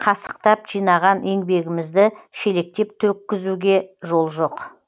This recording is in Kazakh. қасықтап жинаған еңбегімізді шелектеп төккізуге жол жоқ